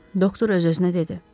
Doktor öz-özünə dedi.